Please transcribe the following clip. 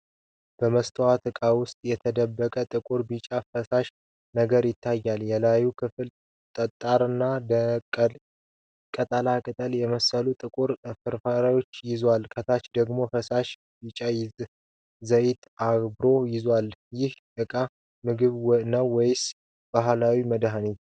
በመስታወት ዕቃ ውስጥ የተደባለቀ ጥቁርና ቢጫ ፈሳሽ ነገር ይታያል። የላዩ ክፍል ጠጣርና እንደ ቅጠላ ቅጠል የመሰሉ ጥቁር ፍርፋሪዎችን ይዟል። ከታች ደግሞ ፈሳሽ ቢጫ ዘይት አብሮ ይገኛል። ይህ ዕቃ ምግብ ነው ወይስ ባህላዊ መድኃኒት?